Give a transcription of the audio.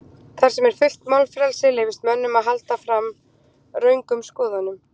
Þar sem er fullt málfrelsi leyfist mönnum að halda fram röngum skoðunum.